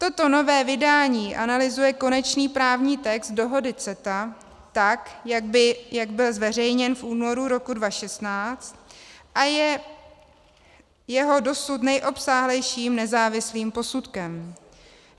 Toto nové vydání analyzuje konečný právní text dohody CETA, tak jak byl zveřejněn v únoru roku 2016, a je jeho dosud nejobsáhlejším nezávislým posudkem.